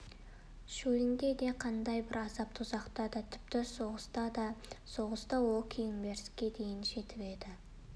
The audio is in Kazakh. шөлінде де қандай бір азап-тозақта да тіпті соғыста да соғыста ол кенигсбергке дейін жетіп еді